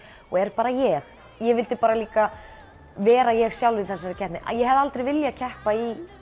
og er bara ég ég vildi líka vera ég sjálf í þessari keppni ég hefði aldrei viljað keppa í